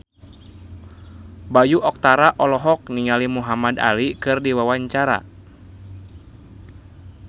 Bayu Octara olohok ningali Muhamad Ali keur diwawancara